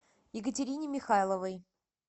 екатерине михайловой